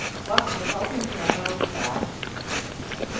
wagxothwa ukwiminyaka yobudala